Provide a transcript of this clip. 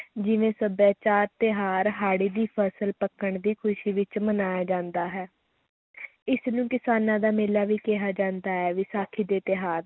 ਜਿਵੇਂ ਸਭਿਆਚਾਰ, ਤਿਉਹਾਰ, ਹਾੜੀ ਦੀ ਫਸਲ ਪੱਕਣ ਦੀ ਖ਼ੁਸ਼ੀ ਵਿੱਚ ਮਨਾਇਆ ਜਾਂਦਾ ਹੈੈ ਇਸਨੂੰ ਕਿਸਾਨਾਂ ਦਾ ਮੇਲਾ ਵੀ ਕਿਹਾ ਜਾਂਦਾ ਹੈ, ਵਿਸਾਖੀ ਦੇ ਤਿਉਹਾਰ